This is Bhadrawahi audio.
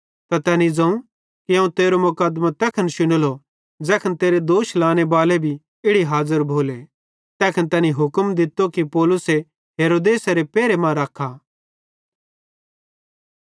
त तैनी ज़ोवं कि अवं तेरो मुकदमों तैखन शुनेलो ज़ैखन तीं पुड़ दोष लाने बाले भी इड़ी हाज़र भोले तैखन तैनी हुक्म दित्तो कि पौलुसे हेरोदेसेरे पहेरे मां रख्खा